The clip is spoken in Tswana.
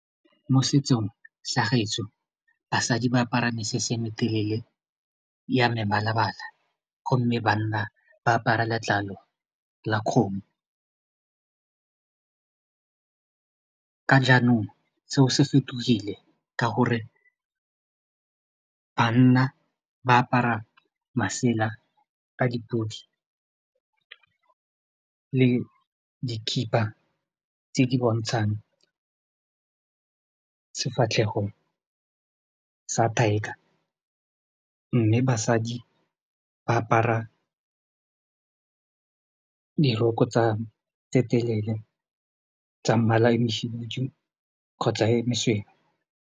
Mo setsong sa gaetsho basadi ba apara mesese e metelele ya mebala-bala gomme banna ba apara letlalo la kgomo ka jaanong seo se fetogile ka gore banna ba apara masela ka dipodi le dikhipa tse di bontshang sefatlhego sa tiger mme basadi ba apara diroko tse telele tsa mmala o mohibidu kgotsa e mesweu.